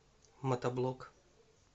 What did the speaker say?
мотоблок